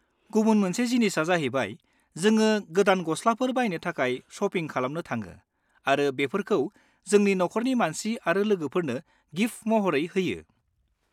गुबुन मोनसे जिनिसआ जाहैबाय जोङो गोदान गस्लाफोर बायनो थाखाय शपिं खालामनो थाङो आरो बेफोरखौ जोंनि नखरनि मानसि आरो लोगोफोरनो गिफ्ट महरै होयो।